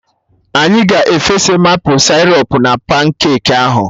Anyị ga-efesa maple sịrọp na pancake ahụ